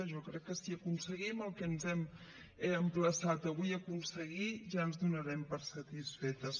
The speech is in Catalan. jo crec que si aconseguim el que ens hem emplaçat avui a aconseguir ja ens donarem per satisfetes